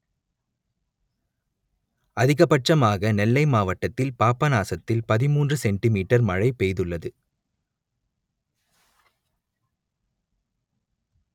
அதிகபட்சமாக நெல்லை மாவட்டத்தில் பாபநாசத்தில் பதிமூன்று சென்டி மீட்டர் மழை பெய்துள்ளது